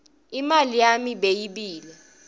imali yami bayebile